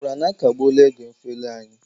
Ị nụkwara na akagbuela oge mfeli anyị?